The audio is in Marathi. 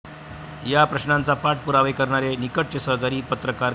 या प्रश्नाचा पाठ पुरावा करणारे निकटचे सहकारी पत्रकार कै.